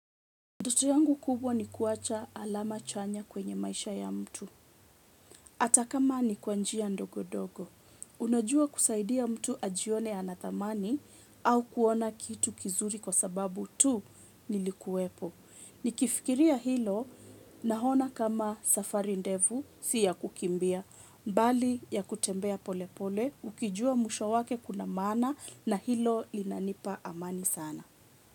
Ndoto yangu kubwa ni kuwacha alama chanya kwenye maisha ya mtu. Hataka mani kwanjia ndogo ndogo. Unajua kusaidia mtu ajione anathamani au kuona kitu vizuri kwa sababu tu nilikuwepo. Nikifikiria hilo na ona kama safari ndefu siya kukimbia. Bali ya kutembea polepole ukijua mwisho wake kuna maana na hilo linanipa amani sana.